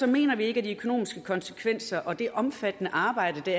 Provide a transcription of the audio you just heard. mener vi ikke at de økonomiske konsekvenser og det omfattende arbejde